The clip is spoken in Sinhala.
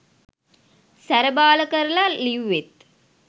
සැර බාල කරල ලිව්වෙත්.